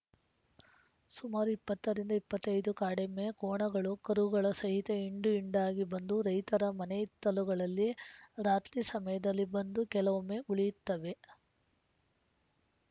ಸುಮಾರು ಇಪ್ಪತ್ತರಿಂದ ಇಪ್ಪತ್ತ್ ಐದು ಕಾಡೆಮ್ಮೆ ಕೋಣಗಳು ಕರುಗಳ ಸಹಿತ ಹಿಂಡುಹಿಂಡಾಗಿ ಬಂದು ರೈತರ ಮನೆಹಿತ್ತಲುಗಳಲ್ಲಿ ರಾತ್ರಿ ಸಮಯದಲ್ಲಿ ಬಂದು ಕೆಲವೊಮ್ಮೆ ಉಳಿಯುತ್ತವೆ